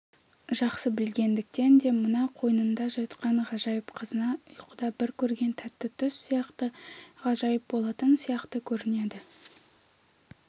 жақсы білгендіктен де мына қойнында жатқан ғажайып қазына ұйқыда бір көрген тәтті түс сияқты ғажайып болатын сияқты көрінеді